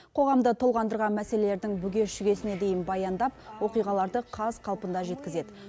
қоғамды толғандырған мәселелердің бүге шүгесіне дейін баяндап оқиғаларды қаз қалпында жеткізеді